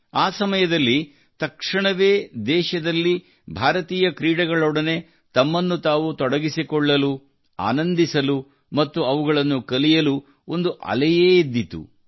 ಆ ಸಮಯದಲ್ಲಿ ತಕ್ಷಣವೇ ದೇಶದಲ್ಲಿ ಭಾರತೀಯ ಕ್ರೀಡೆಗಳೊಡನೆ ತಮ್ಮನ್ನು ತಾವು ತೊಡಗಿಸಿಕೊಳ್ಳಲು ಆನಂದಿಸಲು ಮತ್ತು ಅವುಗಳನ್ನು ಕಲಿಯಲು ಒಂದು ಅಲೆಯೇ ಮೇಲೆ ಎದ್ದಿತ್ತು